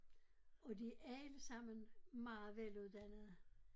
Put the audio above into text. Og de allesammen meget veluddannede